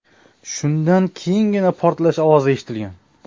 Shundan keyingina portlash ovozi eshitilgan.